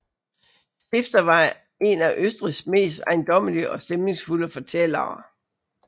Stifter var en af Østrigs mest ejendommelige og stemningsfulde fortællere